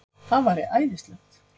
Það væri æðislegt!